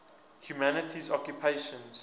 humanities occupations